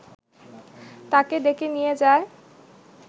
তাকে ডেকে নিয়ে যায়